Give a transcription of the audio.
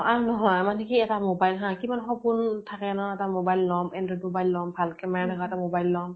R নহয় আমাৰ দেখি এটা mobile হা কিমান সপোন থাকে ন, এটা mobile লম, android mobile লম ভাল কে মই এনেকে এটা mobile লম।